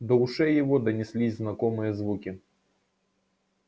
до ушей его донеслись знакомые звуки